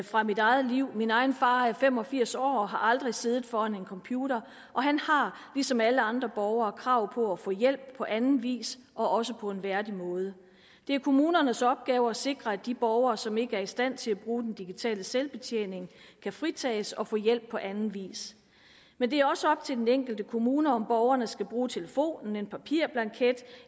fra mit eget liv min egen far er fem og firs år og har aldrig siddet foran en computer og han har ligesom alle andre borgere krav på at få hjælp på anden vis og også på en værdig måde det er kommunernes opgave at sikre at de borgere som ikke er i stand til at bruge den digitale selvbetjening kan fritages og få hjælp på anden vis men det er også op til den enkelte kommune om borgerne skal bruge telefonen en papirblanket